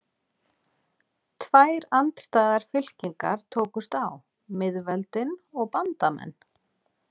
Tvær andstæðar fylkingar tókust á: miðveldin og bandamenn.